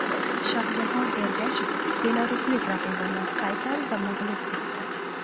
Shohjahon Ergashev belaruslik raqibini qay tarzda mag‘lub etdi?.